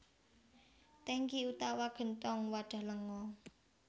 Tèngki utawa genthong wadhah lenga